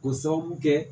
K'o sababu kɛ